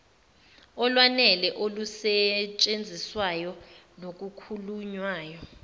olwanele olusetshenziswayo nolukhulunywayo